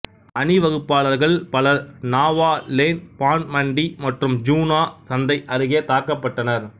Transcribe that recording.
அணிவகுப்பாளர்கள் பலர் நாவா லேன் பான் மண்டி மற்றும் ஜூனா சந்தை அருகே தாக்கப்பட்டனர்